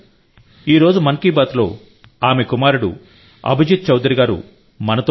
ఈ రోజు మన్ కీ బాత్లో ఆమె కుమారుడు అభిజిత్ చౌధరి గారు మాతో ఉన్నారు